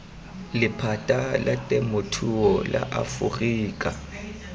lephata la temothuo la aforika